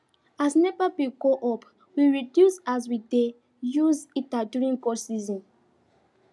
as nepa bill go up we reduce as we dey use heater during cold season